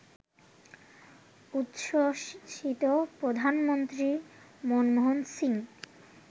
উচ্ছ্বসিত প্রধানমন্ত্রী মনমোহন সিং